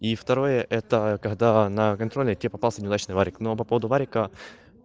и второе это когда на контроле тебе попался неудачный вариант но по поводу варианта